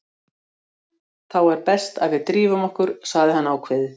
Þá er best að við drífum okkur, sagði hann ákveðið.